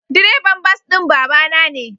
Direban bas din babana ne.